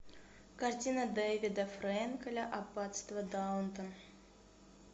картина дэвида фрэнкеля аббатство даунтон